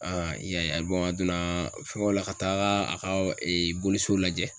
a donna fɛngɛw la ka taa a ka boli so lajɛ